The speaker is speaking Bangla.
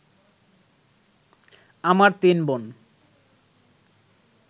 আমার তিন বোন